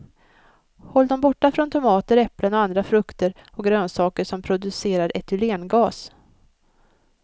Håll dem borta från tomater, äpplen och andra frukter och grönsaker som producerar etylengas.